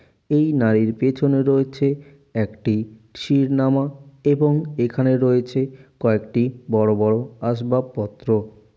এই নারীর পিছনে রয়েছে একটি শিরনামা এবং এখানে রয়েছে কয়েকটি বড়ো বড়ো আসবাবপত্র।